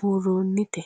buuroonnite?